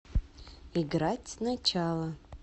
играть сначала